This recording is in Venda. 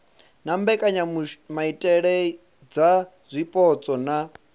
na mbekanyamaitele dza zwipotso na